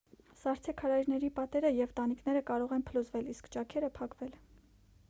սառցե քարայրների պատերը և տանիքները կարող են փլուզվել իսկ ճաքերը փակվել